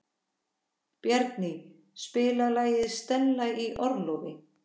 Bjarný, spilaðu lagið „Stella í orlofi“.